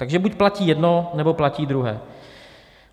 Takže buď platí jedno, nebo platí druhé.